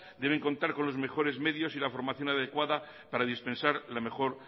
deben contar con los mejores medios y la formación adecuada para dispensar la mejor